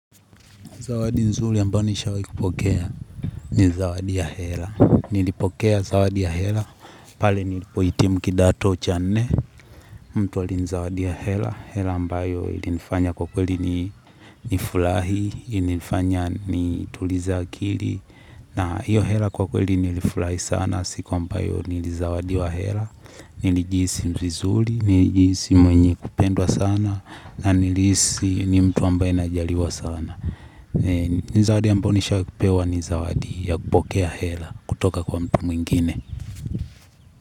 Zawadi nzuri ambayo nishawahi kupokea, ni zawadi ya hela. Nilipokea zawadi ya hela, pale nilipo hitimu kidato cha nne, mtu alinizawadia hela. Hela ambayo ilifanya kwa kweli ni nifulari, ilifanya nitulize akili. Na hiyo hela kwa kweli nilifurahi sana, siku ambayo nili zawadiwa hela. Nilijihisi vizuri, nijihisi mwenye kupendwa sana, na nilisi ni mtu ambaye najaliwa sana. Mi zawadi ambayo nishawahi kupewa ni zawadi ya kupokea hela kutoka kwa mtu mwingine.